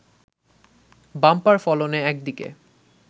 bumper ফলনে একদিকে